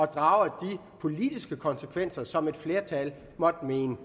draget de politiske konsekvenser bliver som et flertal måtte mene